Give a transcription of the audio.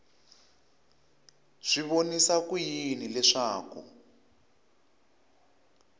swi vonisa ku yini leswaku